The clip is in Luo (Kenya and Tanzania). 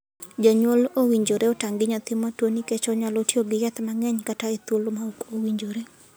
Janyuol owinjore otang' gi nyathi matuo nikech onyalo tiyo gi yath mang'eny kata e thuolo ma ok owinjore.